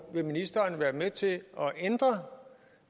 vil ministeren være med til at ændre